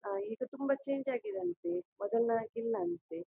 ಆಹ್ಹ್ ಈಗ ತುಂಬಾ ಛೇಂಜ್ ಆಗಿದೆ ಅಂತೆ ಮೊದಲ್ನ ಹಾಗೆ ಇಲ್ಲ ಅಂತೆ.